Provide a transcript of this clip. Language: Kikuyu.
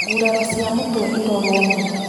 Nguraro cia mũtwe irorwo mũno